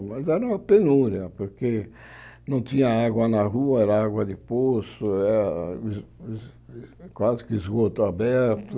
Era, mas era uma penúria, porque não tinha água na rua, era água de poço, era de de era quase que esgoto aberto.